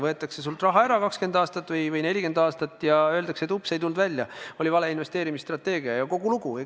Võetakse sult raha ära 20 aastat või 40 aastat ja siis öeldakse, oops, ei tulnud välja, oli vale investeerimisstrateegia, ja kogu lugu.